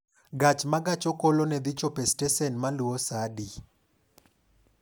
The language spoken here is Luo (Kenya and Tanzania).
Gach ma gach okolone dhi chopo e stesen maluwo saa adi?